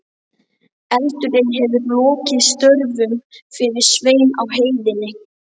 Eldurinn hefur lokið störfum fyrir Svein á heiðinni.